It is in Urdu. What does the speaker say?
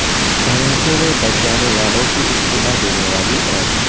دھماکے میں بچ جانے والوں کی اطلاع دینے والی ایپ